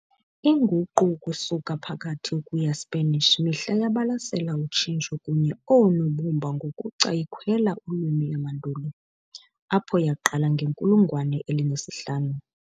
Inguqu ukusuka aphakathi ukuya Spanish mihla yabalasela utshintsho kunye oonobumba ngokuca- ikhwela ulwimi yamandulo, apho yaqala ngenkulungwane elinesihlanu.